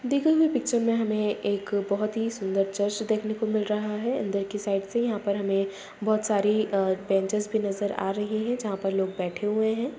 देखो यह पिच्चर मे हमें एक बोहोत ही सुंदर चर्च देखने को मिल रहा है। अंदर की साइट से यहाँ पर हमें बोहोत सारी अ बेंचिस भी नज़र आ रही है जहाॅं पर लोग बैठे हुए हैं।